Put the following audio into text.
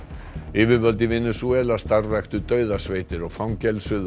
yfirvöld í Venesúela starfræktu dauðasveitir og